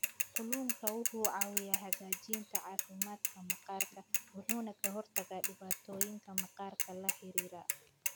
Kalluunku wuxuu caawiyaa hagaajinta caafimaadka maqaarka wuxuuna ka hortagaa dhibaatooyinka maqaarka la xiriira.